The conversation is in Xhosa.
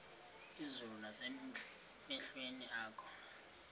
izulu nasemehlweni akho